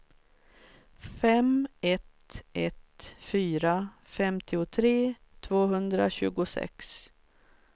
fem ett ett fyra femtiotre tvåhundratjugosex